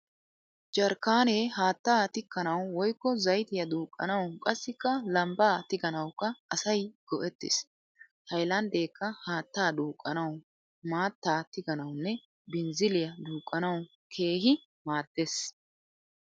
Jarkkaanee haattaa tikkanawu woyikko zayitiya duuqqanawu qassikka lambbaa tiganawukka asay go'ettes. Hayilandeekka haattaa duuqqanawu, maattaa tiganawunne binzziliya duuqqanawu keehi maaddes.